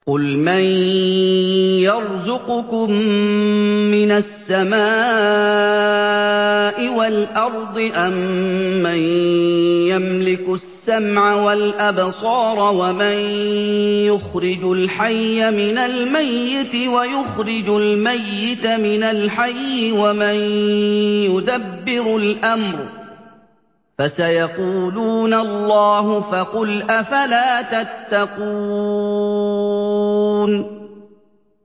قُلْ مَن يَرْزُقُكُم مِّنَ السَّمَاءِ وَالْأَرْضِ أَمَّن يَمْلِكُ السَّمْعَ وَالْأَبْصَارَ وَمَن يُخْرِجُ الْحَيَّ مِنَ الْمَيِّتِ وَيُخْرِجُ الْمَيِّتَ مِنَ الْحَيِّ وَمَن يُدَبِّرُ الْأَمْرَ ۚ فَسَيَقُولُونَ اللَّهُ ۚ فَقُلْ أَفَلَا تَتَّقُونَ